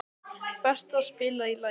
Bertha, spilaðu lag.